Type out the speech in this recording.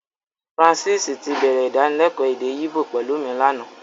Francis tí bẹ̀rẹ̀ Ìdánilẹ́kọ̀ọ́ èdè Íbò pẹ̀lú mi lánàá